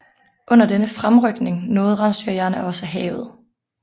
Under denne fremrykning nåede rensdyrjægerne også havet